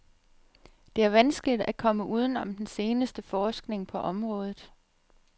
Det er vanskeligt at komme uden om den seneste forskning på området.